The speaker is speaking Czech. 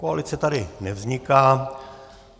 Koalice tady nevzniká.